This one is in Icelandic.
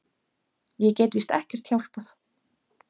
Ég get víst ekkert hjálpað.